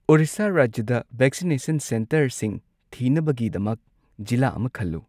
ꯑꯣꯔꯤꯁꯥ ꯔꯥꯖ꯭ꯌꯗ ꯚꯦꯛꯁꯤꯅꯦꯁꯟ ꯁꯦꯟꯇꯔꯁꯤꯡ ꯊꯤꯅꯕꯒꯤꯗꯃꯛ ꯖꯤꯂꯥ ꯑꯃ ꯈꯜꯂꯨ꯫